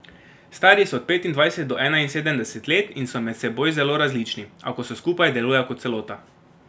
Stari so od petindvajset do enainsedemdeset let in so med seboj zelo različni, a ko so skupaj, delujejo kot celota.